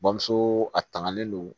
Bamuso a tangalen don